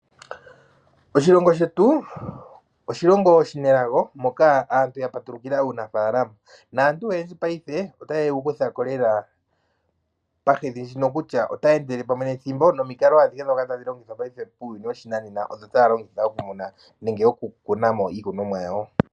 Oshilongo shetu oshilongo oshinelago moka aantu ya patulukila uunafaalama naantu oyendji paife otaye wu kutha ko lela pahedhi ndjino kutya otaya endele pamwe nethimbo nomikalo adhihe ndhoka tadhi longithwa paife muuyuni woshinanena odho taya longitha okumuna nenge oku kuna mo iikunomwa yawo.